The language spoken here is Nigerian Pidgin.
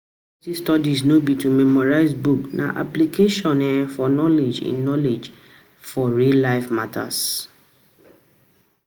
University studies no be to memorize book, na application um of knowledge in knowledge in um real life matter.